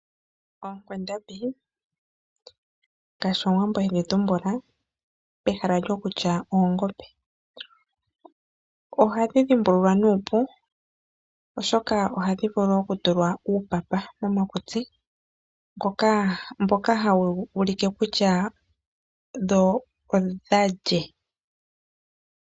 Oonkwandambi ngaashi omuwambo hedhi tumbula pehala lyo kutya oongombe, ohadhi dhimbulula nuupu oshoka ohadhi vulu okutulwa uupapa momakutsi mboka hawu ulike kutya odha lye.